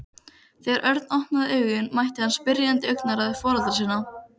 Þegar Örn opnaði augun mætti hann spyrjandi augnaráði foreldra sinna.